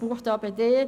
Buchstabe d